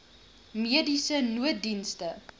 mediese nooddienste